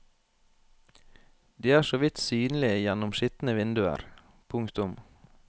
De er så vidt synlige gjennom skitne vinduer. punktum